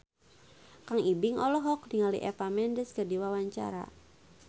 Kang Ibing olohok ningali Eva Mendes keur diwawancara